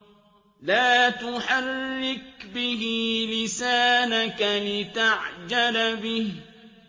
لَا تُحَرِّكْ بِهِ لِسَانَكَ لِتَعْجَلَ بِهِ